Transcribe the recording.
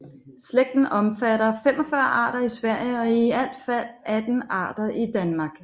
Slægten omfatter 45 arter i Sverige og i alt fald 18 arter i Danmark